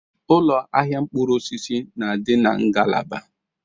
Ụlọ ahịa mkpụrụ osisi na-adị na ngalaba.